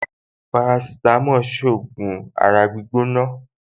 Parasitamọ́ọ̀n ṣògùn ara gbígbóná